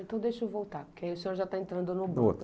Então, deixa eu voltar, porque aí o senhor já está entrando no